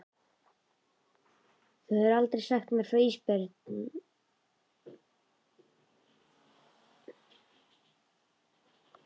Þú hefur aldrei sagt mér frá því Ísbjörg mín.